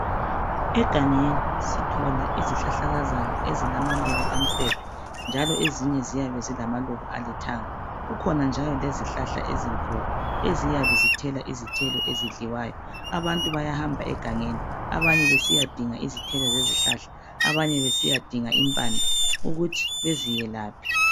Egangeni sithola izihlahlakazana ezilamaluba amhlophe. Njalo ezinye ziyabe zilamaluba alithanga. Kukhona njalo lezihlahla ezinkulu eziyabe zithela izithelo ezidliwayo. Abantu bayahamba egangeni abanye besiyadinga izithelo lezihlahla, abanye besiyadinga impande, ukuthi beziyelaphe.